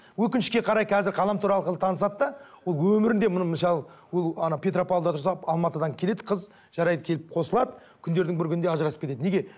өкінішке қарай қазір ғаламтор арқылы танысады да ол өмірінде міне мысалы ол ана петропавлда тұрса алматыдан келеді қыз жарайды келіп қосылады күндердің бір күнінде ажырасып кетеді неге